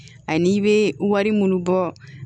Ani i bɛ wari minnu bɔ